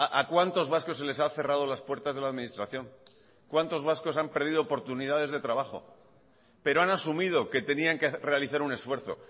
a cuántos vascos se les ha cerrado las puertas de la administración cuántos vascos han perdido oportunidades de trabajo pero han asumido que tenían que realizar un esfuerzo